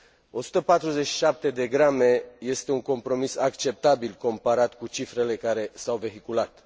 147 de grame este un compromis acceptabil comparat cu cifrele care s au vehiculat.